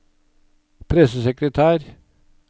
pressesekretær